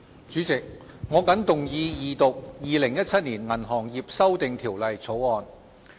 主席，我謹動議二讀《2017年銀行業條例草案》。